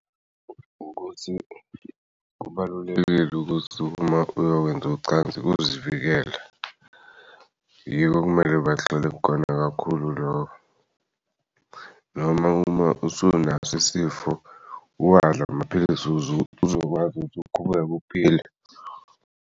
Ukuthi kubalulekile ukuthi uma uyowenz'ucansi ukuzivikela yiko okumele bagxile kukona kakhulu loko noma uma usunaso isifo uwadl' amaphilisi ukuze uzokwazi ukuthi uqhubeke uphile.